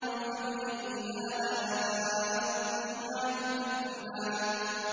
فَبِأَيِّ آلَاءِ رَبِّكُمَا تُكَذِّبَانِ